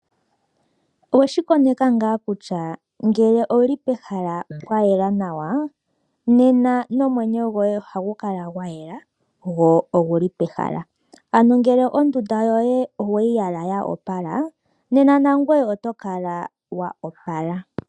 Oweshi koneka ngaa kutya ngele owuli pehala pwa yela nawa nena nomwenyo goye ohagu kala gwayela gwo oguli pehala ano ngele ondunda yoye oweyi yala ya opala nena nangoye oto kala wa opala.